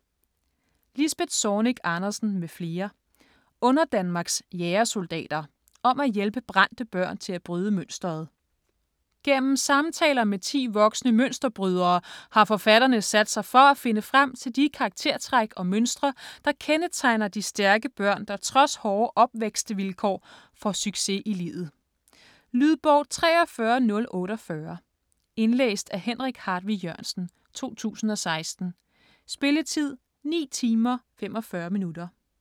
Zornig Andersen, Lisbeth m.fl. : Underdanmarks jægersoldater: om at hjælpe brændte børn til at bryde mønsteret Gennem samtaler med ti voksne mønsterbrydere har forfatterne sat sig for at finde frem til de karaktertræk og mønstre der kendetegner de stærke børn der trods hårde opvækstvilkår får succes i livet. Lydbog 43048 Indlæst af Henrik Hartvig Jørgensen, 2016. Spilletid: 9 timer, 45 minutter.